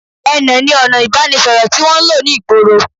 Ẹnà ní ọna ìbánisọ̀rọ̀ tí wọ́n ń lò ní ìgboro